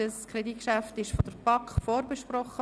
Das Kreditgeschäft wurde von der BaK vorbesprochen.